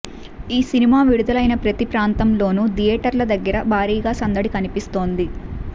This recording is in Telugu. ఈ సినిమా విడుదలైన ప్రతి ప్రాంతంలోను థియేటర్ల దగ్గర భారీగా సందడి కనిపిస్తోంది